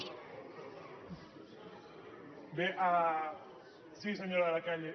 bé sí senyora de la calle